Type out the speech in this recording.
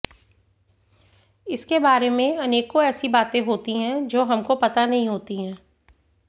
इसके बारे में अनेकों ऐसी बातें होती है जो हमको पता नहीं होती है